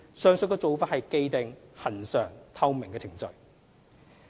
上述做法是既定、恆常、透明的程序。